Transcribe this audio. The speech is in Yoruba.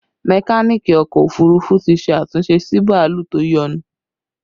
Mekaniki ọkọ òfurufú ti ṣe àtúnṣe sí bàálù tó yọnu